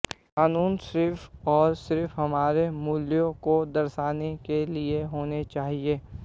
कानून सिर्फ और सिर्फ हमारे मूल्यों को दर्शाने के लिए होने चाहिए